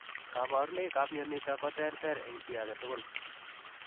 Kabarunnoik ap mionitok kotereter eng chii age tugul